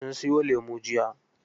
Sun siyo lemu jiya.